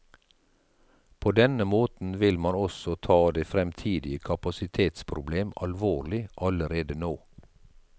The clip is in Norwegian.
På denne måten vil man også ta det fremtidige kapasitetsproblem alvorlig allerede nå.